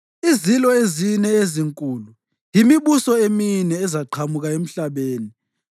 “Izilo ezine ezinkulu yimibuso emine ezaqhamuka emhlabeni.